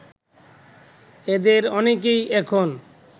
এদের অনেকেই এখন